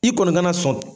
I kɔni kana sɔn